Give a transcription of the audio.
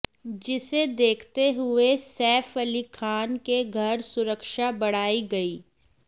जिसे देखते हुए सैफ अली खान के घर सुरक्षा बढ़ाई गई